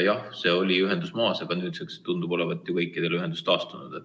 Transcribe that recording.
Jah, see ühendus oli maas, aga nüüdseks tundub olevat kõikidel ühendus taastunud.